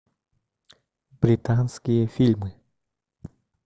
британские фильмы